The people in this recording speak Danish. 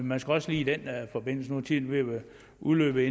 man skal også lige i den forbindelse nu er tiden ved at være udløbet